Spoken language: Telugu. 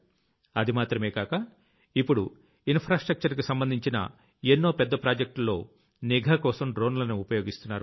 అది మాత్రమే కాక ఇప్పుడు ఇన్ ఫ్రా స్ట్రక్టర్ కి సంబంధించిన ఎన్నో పెద్ద ప్రాజెక్టుల్లో నిఘాకోసం కూడా డ్రోన్లని ఉపయోగిస్తున్నారు